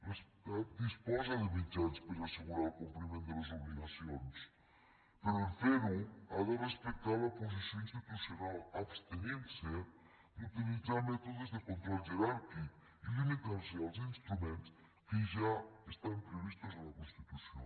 l’estat disposa de mitjans per assegurar el compliment de les obligacions però en fer ho ha de respectar la posició institucional i abstenir se d’utilitzar mètodes de control jeràrquic i limitar se als instruments que ja estan previstos a la constitució